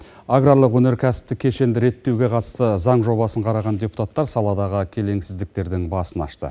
аграрлық өнеркәсіптік кешенді реттеуге қатысты заң жобасын қараған депутаттар саладағы келеңсіздіктердің басын ашты